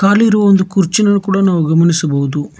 ಆಲ್ಲಿರುವ ಒಂದು ಕುರ್ಚಿಯನ್ನು ಕೂಡ ನಾವು ಗಮನಿಸಬಹುದು.